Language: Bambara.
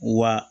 Wa